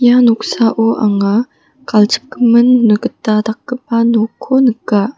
ia noksao anga galchipgimin gita dakgipa nokko nika.